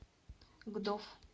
гдов